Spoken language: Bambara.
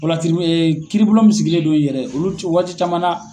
kiribolo mi sigilen dɔ ye yɛrɛ olu ciw waati caman na.